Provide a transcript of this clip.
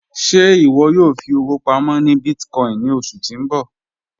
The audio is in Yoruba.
Ṣẹ́ iwọ yóò fi owo pàmọ́ ni bíìtìkòìn ni ọṣu ti n bọ?